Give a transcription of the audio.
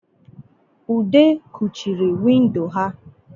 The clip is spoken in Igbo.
ude kuchiri windo ha